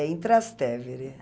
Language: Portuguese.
em Trastevere.